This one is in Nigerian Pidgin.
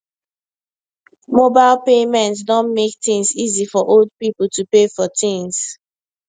mobile payment don make things easy for old people to pay for things